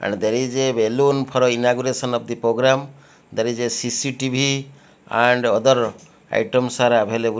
and there is a balloon for inauguration of the program there is a CC TV and other items are available.